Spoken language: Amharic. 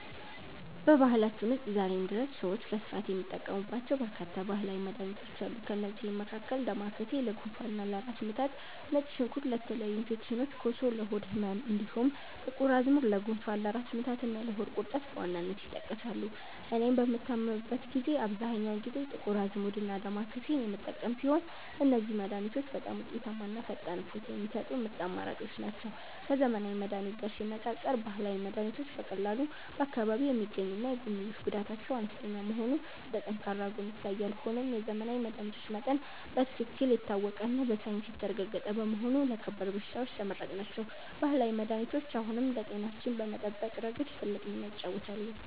በባህላችን ውስጥ ዛሬም ድረስ ሰዎች በስፋት የሚጠቀሙባቸው በርካታ ባህላዊ መድኃኒቶች አሉ። ከእነዚህም መካከል ዳማከሴ ለጉንፋንና ለራስ ምታት፣ ነጭ ሽንኩርት ለተለያዩ ኢንፌክሽኖች፣ ኮሶ ለሆድ ህመም፣ እንዲሁም ጥቁር አዝሙድ ለጉንፋን፣ ለራስ ምታትና ለሆድ ቁርጠት በዋናነት ይጠቀሳሉ። እኔም በምታመምበት ጊዜ አብዛኛውን ጊዜ ጥቁር አዝሙድና ዳማከሴን የምጠቀም ሲሆን፣ እነዚህ መድኃኒቶች በጣም ውጤታማና ፈጣን እፎይታ የሚሰጡ ምርጥ አማራጮች ናቸው። ከዘመናዊ መድኃኒት ጋር ሲነፃፀር፣ ባህላዊ መድኃኒቶች በቀላሉ በአካባቢ የሚገኙና የጎንዮሽ ጉዳታቸው አነስተኛ መሆኑ እንደ ጠንካራ ጎን ይታያል። ሆኖም የዘመናዊ መድኃኒቶች መጠን በትክክል የታወቀና በሳይንስ የተረጋገጠ በመሆኑ ለከባድ በሽታዎች ተመራጭ ናቸው። ባህላዊ መድኃኒቶች አሁንም ለጤናችን በመጠበቅ ረገድ ትልቅ ሚናን ይጫወታሉ።